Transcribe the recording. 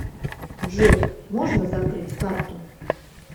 джой можно закрыть карту